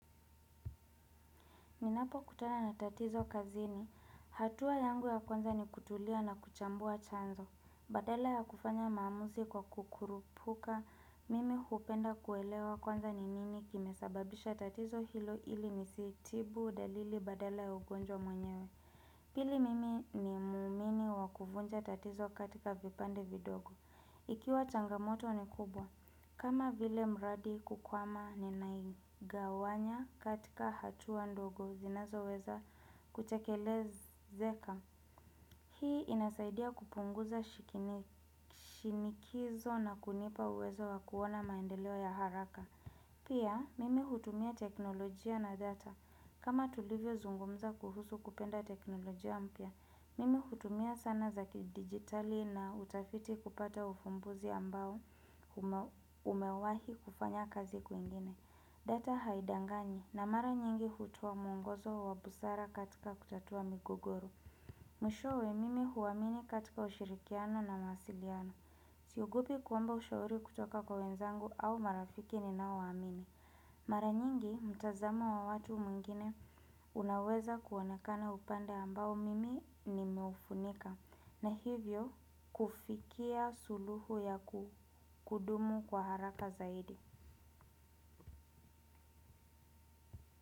Ninapokutana na tatizo kazini. Hatua yangu ya kwanza ni kutulia na kuchambua chanzo. Badala ya kufanya maamuzi kwa kukurupuka. Mimi hupenda kuelewa kwanza ni nini kimesababisha tatizo hilo ili nisitibu dalili badala ya ugonjwa mwenyewe. Pili mimi ni muumini wa kuvunja tatizo katika vipande vidogo. Ikiwa changamoto ni kubwa kama vile mradi kukwama ninaigawanya katika hatua ndogo zinazoweza kutekelezeka. Hii inasaidia kupunguza shinikizo na kunipa uwezo wa kuona maendeleo ya haraka. Pia mimi hutumia teknolojia na data. Kama tulivyozungumza kuhusu kupenda teknolojia mpya. Mimi hutumia sana za kidigitali na utafiti kupata ufumbuzi ambao umewahi kufanya kazi kwingine. Data haidangani na mara nyingi hutoa mwongozo wa busara katika kutatua migogoro. Mwishowe mimi huwamini katika ushirikiano na mawasiliano. Siogopi kuomba ushauri kutoka kwa wenzangu au marafiki ninaowaamini. Mara nyingi mtazamo wa watu wengine unaweza kuonekana upanda ambao mimi nimeufunika na hivyo kufikia suluhu ya kudumu kwa haraka zaidi.